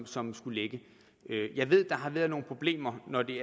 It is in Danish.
som skulle ligge jeg ved at der har været nogle problemer når det